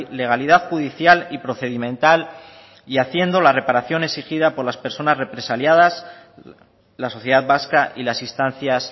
legalidad judicial y procedimental y haciendo las reparaciones exigidas por las personas represaliadas la sociedad vasca y las instancias